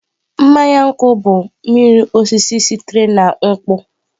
Mmanya nkwu bụ mmiri osisi sitere na nkwụ.